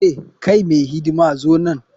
Hey! kai mai hidima zo nan.